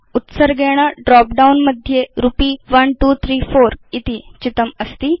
उत्सर्गेण drop down मध्ये रुपी 1234 इति चितमस्ति